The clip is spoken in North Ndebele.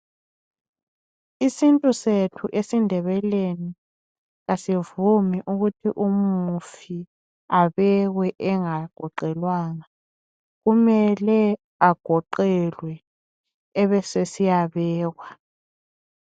Isintu sethu esindebeleni asivumi ukuthi umufi abeke engagoqelwanga kumele agoqelwe ebesesiyabekwa .